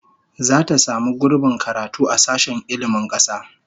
Zata samu gurbin karatu a sashen ilmin kasa